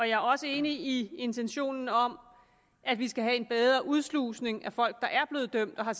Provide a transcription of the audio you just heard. jeg er også enig i intentionen om at vi skal have en bedre udslusning af folk der er blevet dømt og har